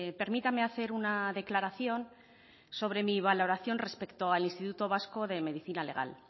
permítame hacer una declaración sobre mi valoración respecto al instituto vasco de medicina legal